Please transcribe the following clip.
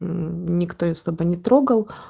никто её особо не трогал